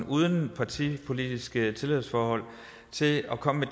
uden partipolitiske tilhørsforhold til at komme